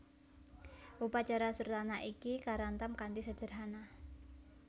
Upacara surtanah iki karantam kanthi sederhana